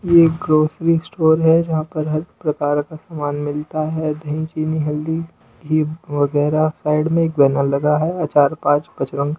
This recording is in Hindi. ये ग्रोसरी स्टोर है जहां पर हर प्रकार का सामान मिलता है दही वगैरह साइड में एक बैनर लगा है अचार पांच बच--